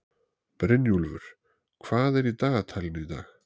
Brynjúlfur, hvað er í dagatalinu í dag?